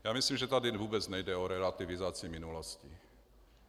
Já myslím, že tady vůbec nejde o relativizaci minulosti.